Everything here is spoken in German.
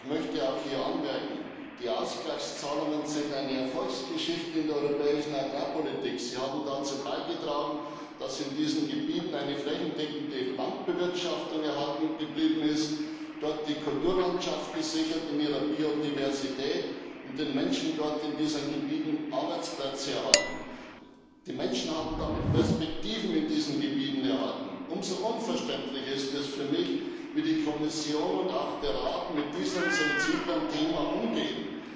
Ich möchte auch hier anmerken Die Ausgleichszahlungen sind eine Erfolgsgeschichte in der europäischen Agrarpolitik. Sie haben dazu beigetragen, dass in diesen Gebieten eine flächendeckende Landbewirtschaftung erhalten geblieben ist, dort die Kulturlandschaft in ihrer Biodiversität gesichert wurde und die Arbeitsplätze der Menschen in diesen Gebieten erhalten wurden. Die Menschen haben damit Perspektiven in diesen Gebieten erhalten. Umso unverständlicher ist es für mich, wie die Kommission und auch der Rat mit diesem sensiblen Thema umgehen.